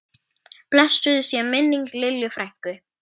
Blessuð sé minning Lillu frænku.